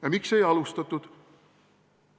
Ja miks ei alustatud?